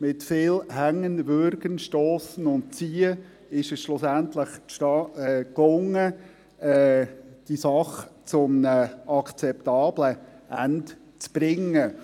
Mit viel Hängen, Würgen, Stossen und Ziehen ist es schlussendlich gelungen, diese Sache zu einem akzeptablen Ende zu bringen.